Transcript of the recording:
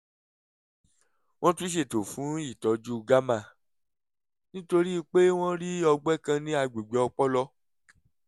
wọ́n tún ṣètò fún ìtọ́jú gamma nítorí pé wọ́n rí ọgbẹ́ kan ní àgbègbè ọpọlọ